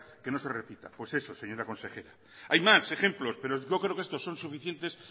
que no se repita pues eso señora consejera hay más ejemplos pero yo creo que estos son suficientes